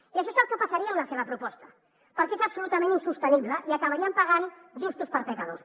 i això és el que passaria amb la seva proposta perquè és absolutament insostenible i acabarien pagant justos per pecadors